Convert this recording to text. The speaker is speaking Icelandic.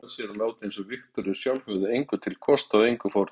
Hún vogaði sér að láta einsog Viktoría sjálf hefði engu til kostað og engu fórnað.